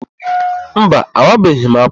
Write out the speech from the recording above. Mba, awabeghị m ákwà.